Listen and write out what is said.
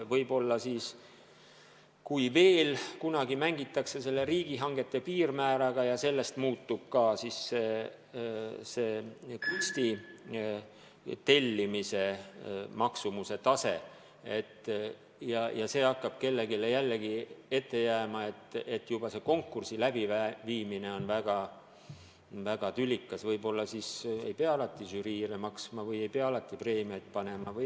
Võib-olla siis, kui veel kunagi mängitakse riigihangete piirmääraga ja sellest muutub ka kunsti tellimise maksumuse määr ja see hakkab kellelegi jälle ette jääma – no et juba konkursi läbiviimine on väga tülikas –, võib-olla siis ei pea alati žüriile maksma või ei pea alati preemiaid andma.